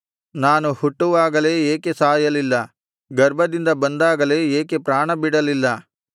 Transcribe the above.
ನಾನು ಹುಟ್ಟುವಾಗಲೇ ಏಕೆ ಸಾಯಲಿಲ್ಲ ಗರ್ಭದಿಂದ ಬಂದಾಗಲೇ ಏಕೆ ಪ್ರಾಣಬಿಡಲಿಲ್ಲ